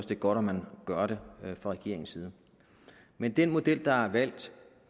det er godt at man gør det fra regeringens side men den model der er valgt